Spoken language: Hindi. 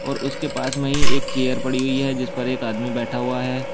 और उसके पास में ही एक चेयर पड़ी हुई है जिसपर एक आदमी बैठा हुआ है।